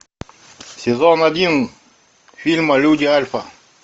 сезон один фильма люди альфа